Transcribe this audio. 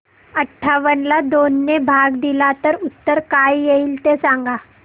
अठावन्न ला दोन ने भाग दिला तर उत्तर काय येईल ते सांगा